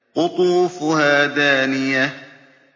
قُطُوفُهَا دَانِيَةٌ